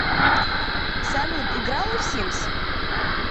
салют играла в симс